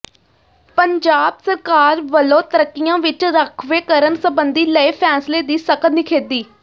ਪੰਜਾਬ ਸਰਕਾਰ ਵੱਲੋਂ ਤਰੱਕੀਆਂ ਵਿੱਚ ਰਾਖਵੇਂਕਰਨ ਸਬੰਧੀ ਲਏ ਫੈਸਲੇ ਦੀ ਸਖ਼ਤ ਨਿਖੇਧੀ